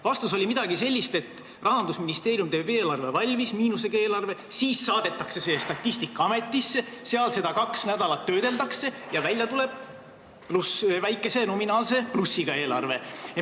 Vastus oli midagi sellist, et Rahandusministeerium teeb miinusega eelarve valmis, siis saadetakse see Statistikaametisse, seal seda kaks nädalat töödeldakse ja välja tuleb väikese nominaalse plussiga eelarve.